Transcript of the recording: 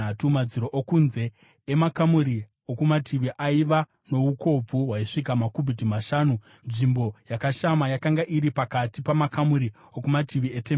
Madziro okunze emakamuri okumativi aiva noukobvu hwaisvika makubhiti mashanu. Nzvimbo yakashama yakanga iri pakati pamakamuri okumativi etemberi.